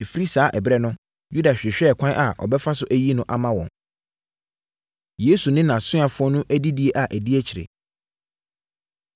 Ɛfiri saa ɛberɛ no, Yuda hwehwɛɛ kwan a ɔbɛfa so ayi no ama wɔn. Yesu Ne Nʼasuafoɔ Adidie A Ɛdi Akyire